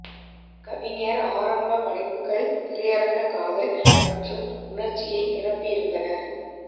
கவிஞர் ஆரம்ப படைப்புகள் திரையரங்க காதல் மற்றும் உணர்ச்சியை நிரம்பியிருந்தனர்